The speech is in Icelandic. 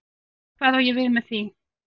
Hvað á ég við með því?